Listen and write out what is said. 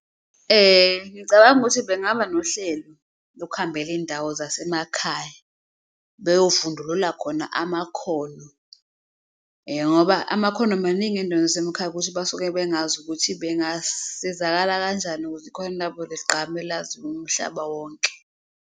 Ngicabanga ukuthi bengaba nohlelo lokuhambela iy'ndawo zasemakhaya beyovundulula khona amakhono ngoba amakhono amaningi ey'ndaweni zasemakhaya, ukuthi basuke bengazi ukuthi bengasizakala kanjani ukuze ikhono labo ligqame laziwe umhlaba wonke.